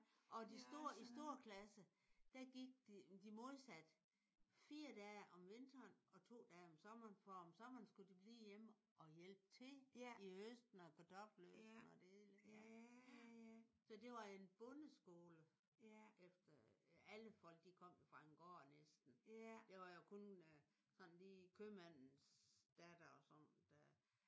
Og de store i storeklasse der gik de modsat 4 dage om vinteren og 2 dage om sommeren for om sommeren skulle de blive hjemme og hjælpe til i høsten og kartoffelhøsten og det hele. Så det var en bondeskole efter alle folk de kom jo fra en gård næsten. Det var jo kun lige købmandens datter og sådan der